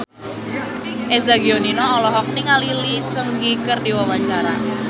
Eza Gionino olohok ningali Lee Seung Gi keur diwawancara